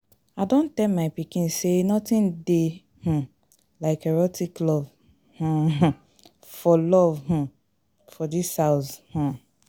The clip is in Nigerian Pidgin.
I done tell my pikin say nothing dey um like erotic love um for love um for dis house um